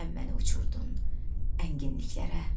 Sən məni uçurdun ənginliklərə.